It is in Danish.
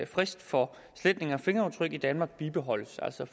frist for sletning af fingeraftryk i danmark bibeholdes altså